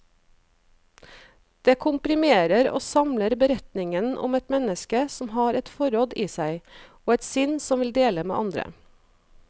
Det komprimerer og samler beretningen om et menneske som har et forråd i seg, og et sinn som vil dele med andre.